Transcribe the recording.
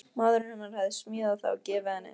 Maðurinn hennar hafði smíðað það og gefið henni.